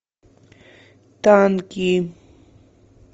танки